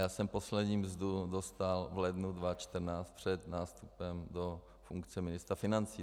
Já jsem poslední mzdu dostal v lednu 2014 před nástupem do funkce ministra financí.